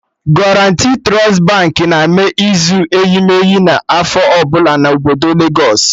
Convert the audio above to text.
Guaranti Trust Baankị na-eme izu eyimeyi na afọ ọbụla na obodo legos